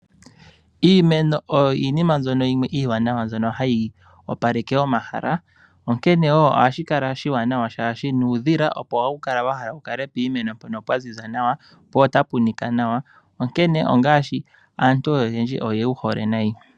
Iimeno iiwanawa ohayi opaleke omahala. Onkene woo ohashi kala oshiwanawa shaashi nuudhila oko hawu kala wahala wukale piimeno mpono pwa ziza nawa po otapu nika nawa. Aantu oyendji oye wu hole nayi.